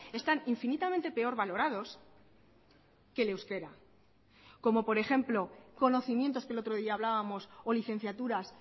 están infinitamente peor valorados que el euskera como por ejemplo conocimientos que el otro día hablábamos o licenciaturas